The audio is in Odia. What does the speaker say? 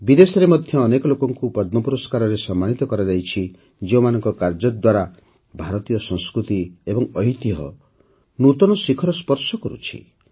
ବିଦେଶର ମଧ୍ୟ ଅନେକ ଲୋକଙ୍କୁ ପଦ୍ମ ପୁରସ୍କାରରେ ସମ୍ମାନିତ କରାଯାଇଛି ଯେଉଁମାନଙ୍କ କାର୍ଯ୍ୟ ଦ୍ୱାରା ଭାରତୀୟ ସଂସ୍କୃତି ଏବଂ ଐତିହ୍ୟ ନୂତନ ଶିଖର ସ୍ପର୍ଶ କରୁଛି